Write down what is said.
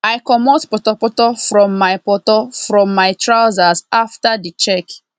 i comot potor potor from my potor from my trousers after the check